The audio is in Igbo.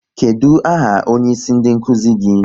Kedụ aha onyeisi ndị nkuzi gị?